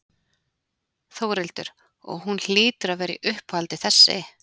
Þórhildur: Og hún hlýtur að vera í uppáhaldi þessi?